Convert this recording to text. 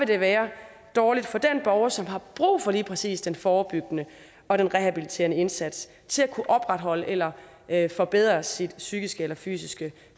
det være dårligt for den borger som har brug for lige præcis den forebyggende og den rehabiliterende indsats til at kunne opretholde eller eller forbedre sit psykiske eller fysiske